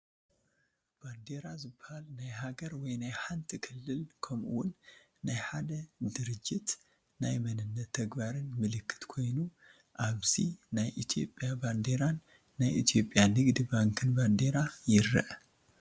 ባንዴራ ዝባሃል ናይ ሃገር ወይ ናይ ሓንቲ ክልል ከምኡ ውን ናይ ሓደ ድርጅት ናይ መንነትን ተግባርን ምልክት ኮይኑ ኣብዚ ናይ ኢትዮጵያ ባንዴራን ናይ ኢ/ያ ንግዲ ባንክን ባንዴራ ይረአ፡፡